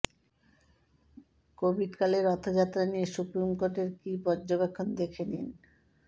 কোভিডকালে রথযাত্রা নিয়ে সুপ্রিম কোর্টের কী পর্যবেক্ষণ দেখে নিন